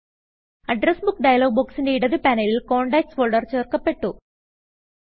address Bookഡയലോഗ് ബൊക്സിന്റെ ഇടത് പാനലിൽ കോണ്ടാക്ട്സ് ഫോൾഡർ ചേർക്കപ്പെട്ടു